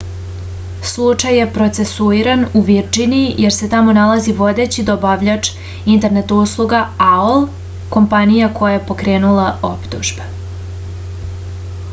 slučaj je procesuiran u virdžiniji jer se tamo nalazi vodeći dobavljač internet usluga aol kompanija koja je pokrenula optužbe